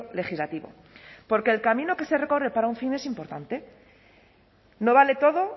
legislativo porque el camino que se recorre para un fin es importante no vale todo